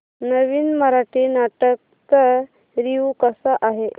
नवीन मराठी नाटक चा रिव्यू कसा आहे